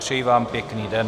Přeji vám pěkný den.